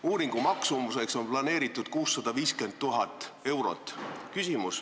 Uuringu maksumuseks on planeeritud 650 000 eurot.